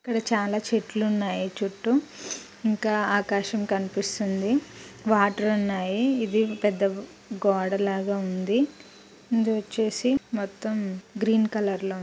ఇక్కడ చాలా చెట్లు ఉన్నాయి. చుట్టూ ఇంకా ఆకాశం కనిపిస్తుంది వాటర్ ఉన్నాయి. ఇది పెద్ద గోడ లాగా ఉంది. ముందు చూసి మొత్తం గ్రీన్ కలర్ లో--